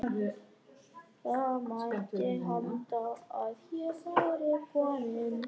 Það mætti halda að hér væri kominn